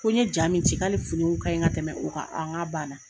Ko n ye ja min ci k'ale finiw kaɲi ka tɛmɛ o kan n ko a n k'a banna